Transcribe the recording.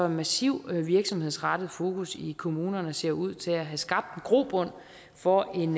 massiv virksomhedsrettet fokus i kommunerne ser ud til at have skabt en grobund for en